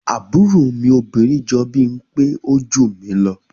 Àbúrò mi obìnrin jọ bimpe o jù mi lọ.